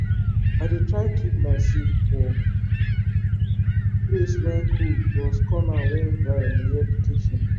i dey try keep my seed for place wey cool plus corner wey dry near de kitchen